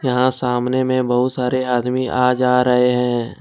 यहां सामने में बहुत सारे आदमी आ जा रहे हैं।